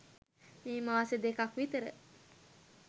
මේ මාස දෙකක් විතර